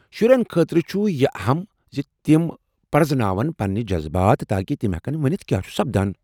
شرٮ۪ن خٲطرٕ چُھ یہِ اہم زِ تِم پرزناوَن پنٕنۍ جذبات تاکہ تمہ ہٮ۪کن ؤنتھ کیاہ چُھ سپدان ۔